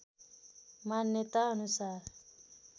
मान्यताअनुसार